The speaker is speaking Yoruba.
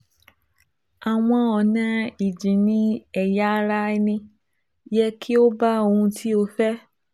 Àwọn ọ̀nà ìjìnnì-ẹ̀yà ara ẹni yẹ kí ó bá ohun tó o fẹ́